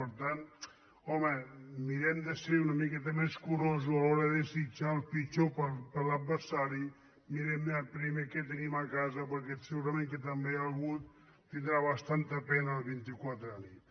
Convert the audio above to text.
per tant home mirem de ser una miqueta més curosos a l’hora de desitjar el pitjor per a l’adversari mirem primer què tenim a casa perquè segurament que també algú tindrà bastanta pena el vint quatre a la nit